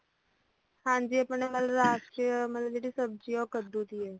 ਹਾਂਜੀ ਮਤਲਬ ਆਪਣੀ ਰਾਸ਼ਟਰੀ ਚ ਮਤਲੱਬ ਜਿਹੜੀ ਸਬਜ਼ੀ ਆ ਉਹ ਕੱਦੂ ਦੀ ਆ